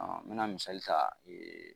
n mina misali ta.